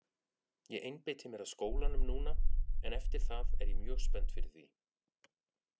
Ég einbeiti mér að skólanum núna en eftir það er ég mjög spennt fyrir því.